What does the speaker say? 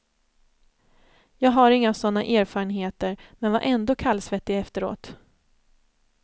Jag har inga sådana erfarenheter, men var ändå kallsvettig efteråt.